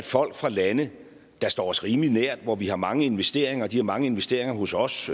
folk fra lande der står os rimelig nær hvor vi har mange investeringer og de har mange investeringer hos os